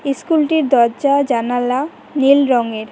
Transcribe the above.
ইস্কুলটির দরজা জানালা নীল রংয়ের।